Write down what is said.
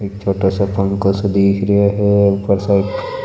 एक छोटा सो पंखो सो दिख रहा है ऊपर शायद --